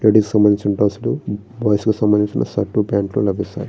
Ladies కి సంబంధించిన డ్రెస్సులు బాయ్స్ కి సంబంధించిన షర్ట్లు ప్యాంట్లు లభిస్తాయి.